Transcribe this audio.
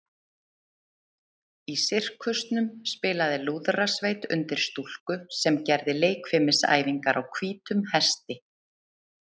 Í sirkusnum spilaði lúðrasveit undir stúlku sem gerði leikfimisæfingar á hvítum hesti.